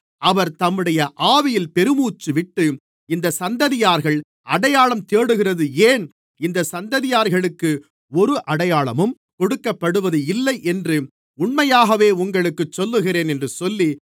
அவர் தம்முடைய ஆவியில் பெருமூச்சுவிட்டு இந்தச் சந்ததியார்கள் அடையாளம் தேடுகிறது ஏன் இந்தச் சந்ததியார்களுக்கு ஒரு அடையாளமும் கொடுக்கப்படுவது இல்லை என்று உண்மையாகவே உங்களுக்குச் சொல்லுகிறேன் என்று சொல்லி